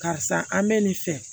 Karisa an bɛ nin fɛ